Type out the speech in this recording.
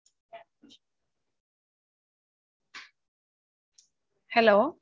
Hello